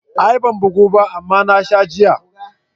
A'a ban bugu ba amma na sha giya.